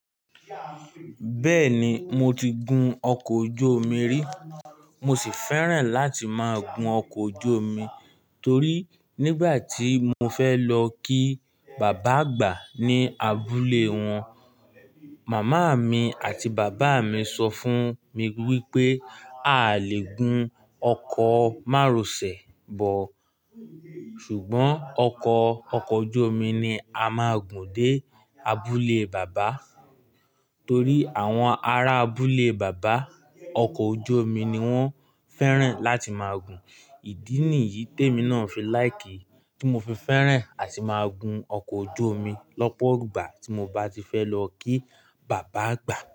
Bẹ́ẹ̀ni, mo ti gun ọkọ̀ ojú omi rí. Mo sì fẹ́ràn láti máa gun ọkọ̀ ojú omi torí nígbà tí mo fẹ́ lọ kí bàbá àgbà ní abúlé wọn, màmá mi àti bàbá mi sọ fún mi wípé awiiiiia lè gun ọkọ̀ márosẹ̀ bọ, ṣùgbọ́n ọkọ̀ ọkọ̀ ojú omi ni a máa gùn dé abúlé bàbá torí àwọn ará abúlé bàbá, ọkọ̀ ojú omi ni wón fẹ́ràn láti máa gùn. Ìdí nìyí tèmi náà fi láìkì tí mo fi fẹ́ràn àti máa gun ọkọ̀ ojú omi lọ́pọ̀ ìgbà tí mo bá ti fẹ́ lọ kí bàbá àgbà.